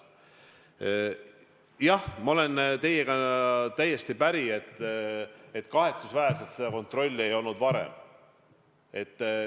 Jah, ma olen teiega täiesti päri: on kahetsusväärne, et seda kontrolli ei tehtud varem.